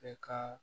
Bɛɛ ka